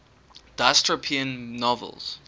dystopian novels